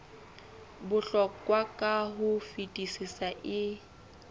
bohlokwa ka ho fetisisa e